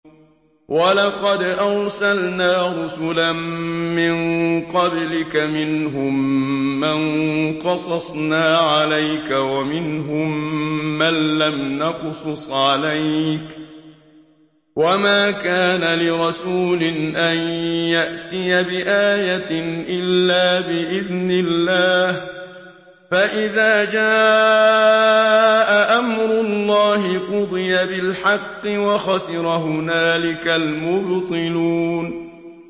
وَلَقَدْ أَرْسَلْنَا رُسُلًا مِّن قَبْلِكَ مِنْهُم مَّن قَصَصْنَا عَلَيْكَ وَمِنْهُم مَّن لَّمْ نَقْصُصْ عَلَيْكَ ۗ وَمَا كَانَ لِرَسُولٍ أَن يَأْتِيَ بِآيَةٍ إِلَّا بِإِذْنِ اللَّهِ ۚ فَإِذَا جَاءَ أَمْرُ اللَّهِ قُضِيَ بِالْحَقِّ وَخَسِرَ هُنَالِكَ الْمُبْطِلُونَ